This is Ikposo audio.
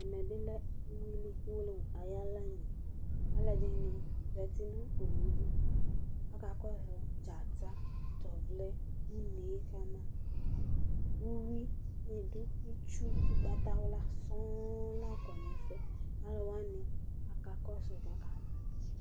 ɛmɛ bi lɛ uwili uwolowu ayi ala nu alo ɛdini zati no owu li aka kɔsu dzata no to ɔvlɛ no une kama uwi ni do itsu ugbata wla sɔŋ la kɔ n'ɛfuɛ alo wani aka kɔsu k'aka mɔ